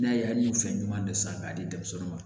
N'a ye an ye fɛn ɲuman de san k'a di denmisɛnw ma